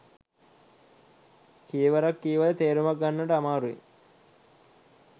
කීවරක් කීවද තේරුමක් ගන්නට අමාරුයි.